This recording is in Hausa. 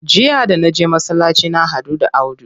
Jiya da naje masallaci na haɗu da Audu.